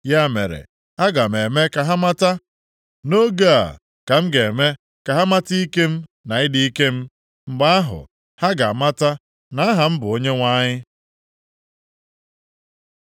“Ya mere, aga m eme ka ha mata. Nʼoge a ka m ga-eme ka ha mata ike m, na ịdị ike m. Mgbe ahụ, ha ga-amata na aha m bụ Onyenwe anyị.